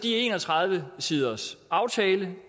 en og tredive siders aftale